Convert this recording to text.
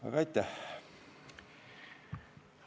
Aga aitäh!